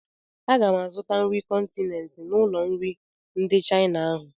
Aga m azụta nri kọntinent n'ụlọ nri ndị Chaịna ahụ.